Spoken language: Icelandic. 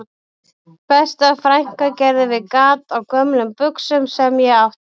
Besta frænka gerði við gat á gömlum buxum sem ég átti